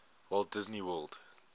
walt disney world